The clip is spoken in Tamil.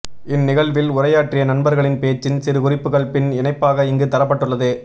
இந் நிகழ்வில் உரையாற்றிய நண்பர்களின் பேச்சின் சிறுகுறிப்புக்கள் பின் இணைப்பாக இங்கு தரப்பட்டுள்ளது